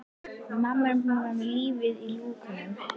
Við mamma erum búin að vera með lífið í lúkunum.